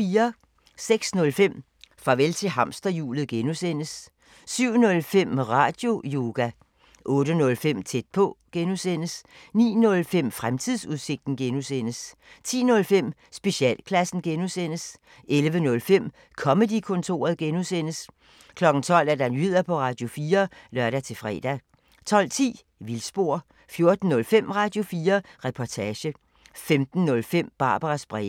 06:05: Farvel til hamsterhjulet (G) 07:05: Radioyoga 08:05: Tæt på (G) 09:05: Fremtidsudsigten (G) 10:05: Specialklassen (G) 11:05: Comedy-kontoret (G) 12:00: Nyheder på Radio4 (lør-fre) 12:10: Vildspor 14:05: Radio4 Reportage 15:05: Barbaras breve